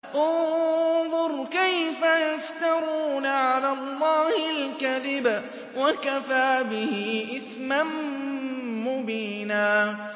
انظُرْ كَيْفَ يَفْتَرُونَ عَلَى اللَّهِ الْكَذِبَ ۖ وَكَفَىٰ بِهِ إِثْمًا مُّبِينًا